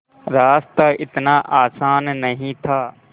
रास्ता इतना आसान नहीं था